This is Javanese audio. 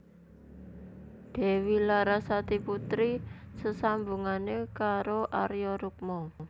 Dewi Larasati putri sesambungane karo Arya Rukma